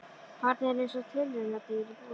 Barnið er eins og tilraunadýr í búri.